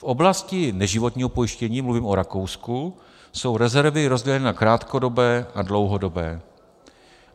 V oblasti neživotního pojištění, mluvím o Rakousku, jsou rezervy rozděleny na krátkodobé a dlouhodobé.